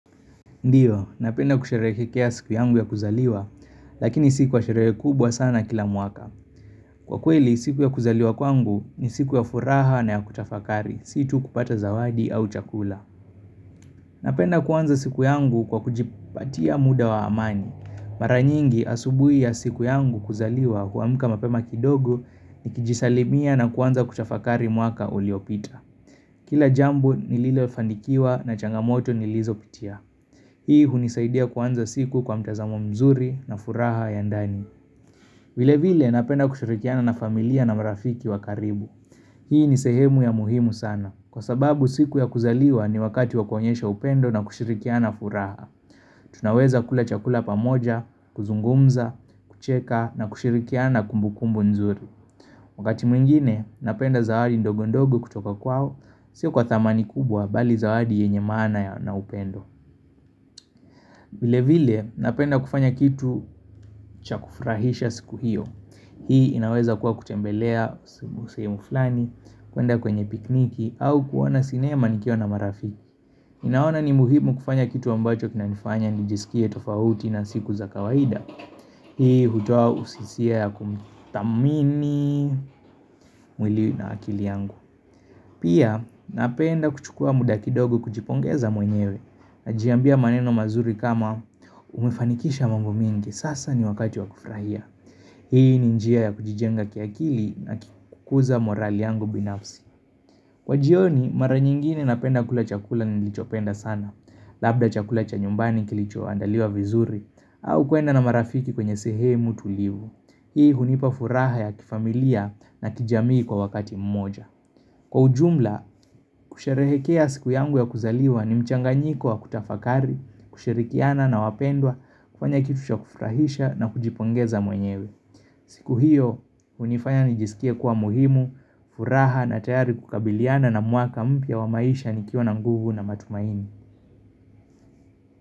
Ndiyo, napenda kusherehekea siku yangu ya kuzaliwa lakini si kwa sherehe kubwa sana kila mwaka kwa kweli siku ya kuzaliwa kwangu ni siku ya furaha na ya kutafakari, situ kupata zawadi au chakula. Napenda kuanza siku yangu kwa kujipatia muda wa amani. Mara nyingi asubui ya siku yangu kuzaliwa huamka mapema kidogo nikijisalimia na kuanza kutafakari mwaka uliopita. Kila jambo nililofanikiwa na changamoto nilizopitia. Hii hunisaidia kuanza siku kwa mtazamo mzuri na furaha ya ndani. Vile vile napenda kushirikiana na familia na marafiki wa karibu. Hii ni sehemu ya muhimu sana. Kwa sababu siku ya kuzaliwa ni wakati wa kuonyesha upendo na kushirikiana furaha. Tunaweza kula chakula pamoja, kuzungumza, kucheka na kushirikiana kumbukumbu mzuri. Wakati mwingine napenda zawadi ndogo ndogo kutoka kwao Sio kwa thamani kubwa bali zawadi yenye maana na upendo vile vile napenda kufanya kitu cha kufrahisha siku hiyo Hii inaweza kuwa kutembelea sehemu fulani kuenda kwenye pikniki au kuona sinema nikiwa na marafi ninaona ni muhimu kufanya kitu ambacho kinanifanya nijisikie tofauti na siku za kawaida Hii hutoa hisia ya kumthamini mwili na akili yangu Pia napenda kuchukua muda kidogo kujipongeza mwenyewe najiambia maneno mazuri kama umefanikisha mambo mingi sasa ni wakati wa kufurahia. Hii ni njia ya kujijenga kiakili na kukuza morali yangu binafsi. Kwa jioni mara nyingine napenda kula chakula nilichopenda sana. Labda chakula cha nyumbani kilicho andaliwa vizuri au kuenda na marafiki kwenye sehemu tulivu. Hii hunipa furaha ya kifamilia na kijamii kwa wakati mmoja. Kwa ujumla, kusherehekea siku yangu ya kuzaliwa ni mchanganyiko wa kutafakari, kushirikiana na wapendwa, kufanya kitu cha kufurahisha na kujipongeza mwenyewe. Siku hiyo, hunifanya nijisikie kuwa muhimu, furaha na tayari kukabiliana na mwaka mpya wa maisha nikiwa na nguvu na matumaini.